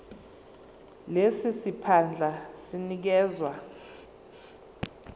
lesi siphandla sinikezwa